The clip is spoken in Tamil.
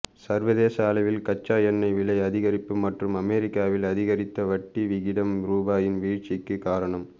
சர்வதேச அளவில் கச்சா எண்ணெய் விலை அதிகரிப்பு மற்றும் அமெரிக்காவில் அதிகரித்த வட்டி விகிதம் ரூபாயின் வீழ்ச்சிக்கு காரணம்